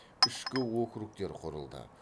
ішкі округтер құрылды